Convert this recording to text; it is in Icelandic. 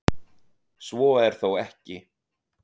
Svo er þó ekki.